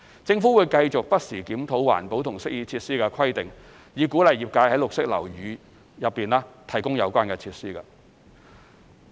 政府會繼續不時檢討環保及適意設施的規定，以鼓勵業界在綠色樓宇內提供有關設施。